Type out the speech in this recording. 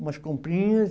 Umas comprinhas.